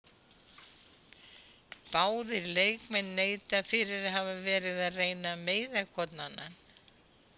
Báðir leikmenn neita fyrir að hafa verið að reyna að meiða hvorn annan.